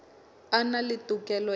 a na le tokelo ya